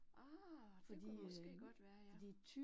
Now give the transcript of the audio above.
Ah det kunne jo måske godt være ja